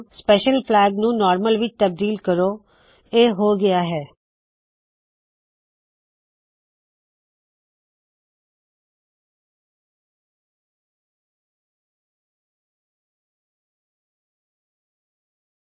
special flag special flag ਨੂ normal normal ਵਿੱਚ ਤਬਦੀਲ ਕਰੋ